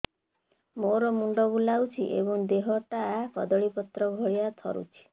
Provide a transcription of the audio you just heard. ମୋର ମୁଣ୍ଡ ବୁଲାଉଛି ଏବଂ ଦେହଟା କଦଳୀପତ୍ର ଭଳିଆ ଥରୁଛି